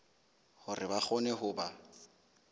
hore ba kgone ho ba